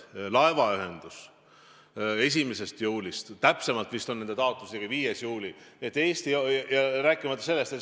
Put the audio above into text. Või täpsemalt vist on nende taotlus alates 5. juulist.